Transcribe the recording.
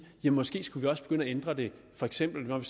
at måske skulle vi også begynde at ændre det for eksempel når